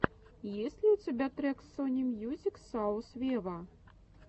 есть ли у тебя трек сони мьюзик саус вево